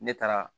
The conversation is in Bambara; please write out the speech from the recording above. Ne taara